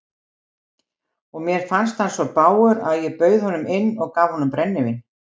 Og mér fannst hann svo bágur að ég bauð honum inn og gaf honum brennivín.